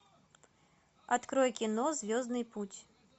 открой кино звездный путь